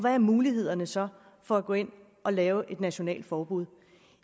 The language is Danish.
er mulighederne så for at gå ind at lave et nationalt forbud